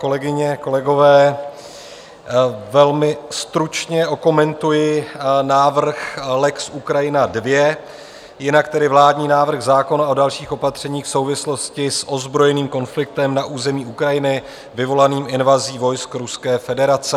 Kolegyně, kolegové, velmi stručně okomentuji návrh lex Ukrajina II, jinak tedy vládní návrh zákona o dalších opatřeních v souvislosti s ozbrojeným konfliktem na území Ukrajiny vyvolaným invazí vojsk Ruské federace.